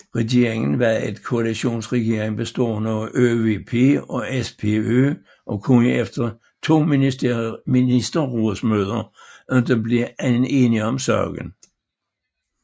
Regeringen var en koalitionsregering bestående af ÖVP og SPÖ og kunne efter to ministerrådsmøder ikke blive enige om sagen